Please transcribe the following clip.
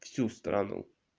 всю страну